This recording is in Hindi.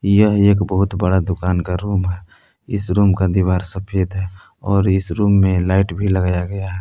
यह एक बहुत बड़ा दुकान का रूम है इस रूम का दीवार सफेद है और इस रूम में लाइट भी लगाया गया--